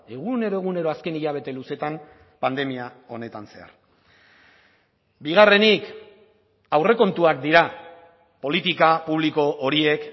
egunero egunero azken hilabete luzeetan pandemia honetan zehar bigarrenik aurrekontuak dira politika publiko horiek